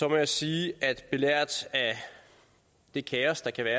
jeg sige belært af det kaos der kan være